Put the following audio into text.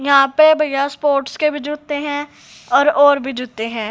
यहां पे बगैर स्पोर्ट्स के भी जूते हैं और और भी जूते हैं।